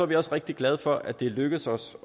vi rigtig glade for at det er lykkedes os